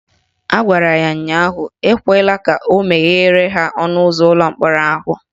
Ọ gwara ya ụnyaahụ "Ekwela ka o meghere ha ọnụụzọ ụlọ mkpọrọ ahụ"